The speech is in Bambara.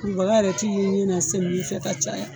Kurubaka yɛrɛ t'i ye ɲɛ na fɛ ka caya.